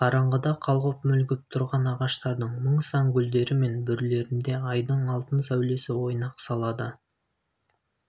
қараңғыда қалғып-мүлгіп тұрған ағаштардың мың сан гүлдері мен бүрлерінде айдың алтын сәулесі ойнақ салады